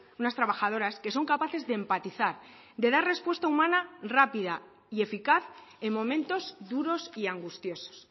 unas trabajadoras que son capaces de empatizar de dar respuesta humana rápida y eficaz en momentos duros y angustiosos